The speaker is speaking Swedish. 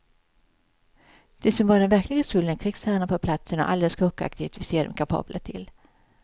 De som bär den verkliga skulden är krigsherrarna på platsen och all den skurkaktighet vi ser dem kapabla till.